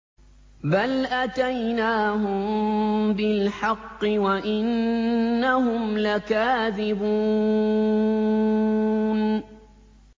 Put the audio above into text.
بَلْ أَتَيْنَاهُم بِالْحَقِّ وَإِنَّهُمْ لَكَاذِبُونَ